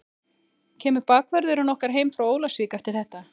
Kemur bakvörðurinn okkar heim frá Ólafsvík eftir þetta?